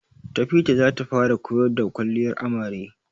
Tafida zata fara koyar da kwalliyar amare